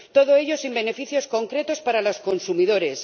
Todo ello sin beneficios concretos para los consumidores.